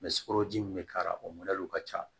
sukoroji mun bɛ k'a la o ka ca